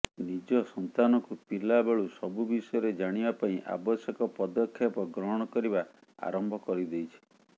ନିଜ ସନ୍ତାନକୁ ପିଲା ବେଳୁ ସବୁ ବିଷୟରେ ଜାଣିବା ପାଇଁ ଆବଶ୍ୟକ ପଦକ୍ଷେପ ଗ୍ରହଣ କରିବା ଆରମ୍ଭ କରିଦେଇଛି